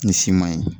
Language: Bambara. Ni si ma ye